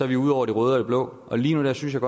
vi ude over det røde og det blå og lige nu synes jeg